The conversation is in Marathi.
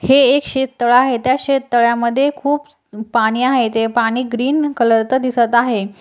हे एक शेततळ आहे त्या शेततळ्या मध्ये खूप पाणी आहे ते पाणी ग्रीन कलरच दिसत आहे.